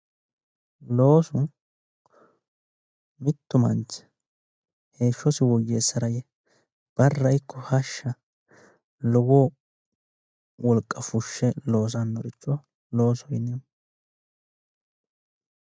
Loosu mittu manichi heeshosi woyeesara yee barra ikko hashsha lowo woliqa fushe loosannorichootibloosoho yineemohu